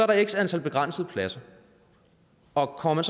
der er x antal begrænsede pladser og kommer